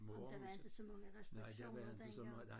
Ah men der var inte så mange restriktioner dengang